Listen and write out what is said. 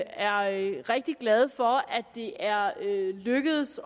er rigtig glade for at det er lykkedes